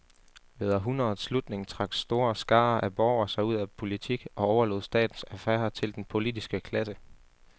Ved århundredets slutning trak store skarer af borgere sig ud af politik og overlod statens affærer til den politiske klasse.